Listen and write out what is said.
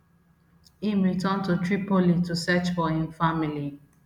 im return to tripoli to search for im family